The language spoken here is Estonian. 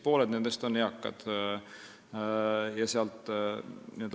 Pooled nendest on eakad.